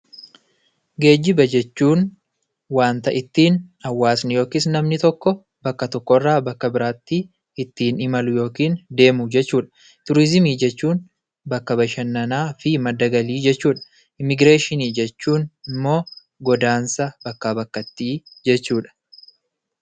Geejjiba jechuun waanta ittiin hawaasni yookin namni tokko bakka tokkorraa bakka biraatti ittiin imalu yookin deemu jechuudha. Turizimii jechuun bakka bashannanaa fi madda galii jechuudha. Immigireeshinii jechuun immoo godaansa bakkaa bakkattii jechuudha.